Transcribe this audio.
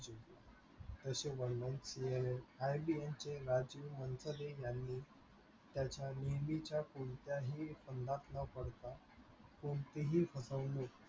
असे वर्णन केले यांनी त्याच्या नेहमीच्या कोणत्याही फंदात न पडता कोणतीही फसवणूक